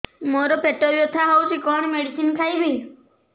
ମୋର ପେଟ ବ୍ୟଥା ହଉଚି କଣ ମେଡିସିନ ଖାଇବି